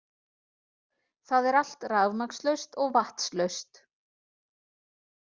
Það er allt rafmagnslaust og vatnslaust